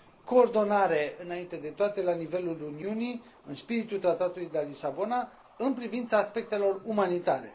Coordonare, înainte de toate, la nivelul Uniunii, în spiritul Tratatului de la Lisabona, în privința aspectelor umanitare